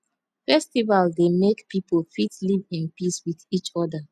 festival dey make pipo fit live in peace with each oda